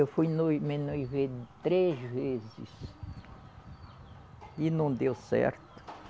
Eu fui noi, me noivei de três vezes e não deu certo.